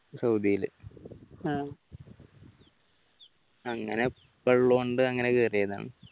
സൗദിലെ അങ്ങനെ ഉപ്പള്ളതുകൊണ്ട് അങ്ങനെ കയറിയതാണ്